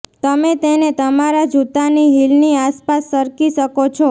તમે તેને તમારા જૂતાની હીલની આસપાસ સરકી શકો છો